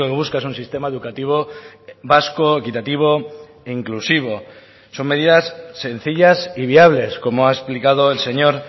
busca es un sistema educativo vasco equitativo e inclusivo son medidas sencillas y viables como ha explicado el señor